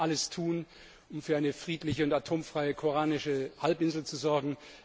Wir müssen alles tun, um für eine friedliche und atomfreie koreanische Halbinsel zu sorgen.